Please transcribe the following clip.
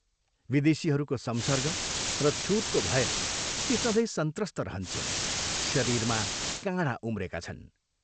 विदेशीहरूको संसर्ग र छूतको भयले ती सधैँ संत्रस्त रहन्छिन्, शरीरमा काँढा उम्रेका छन्।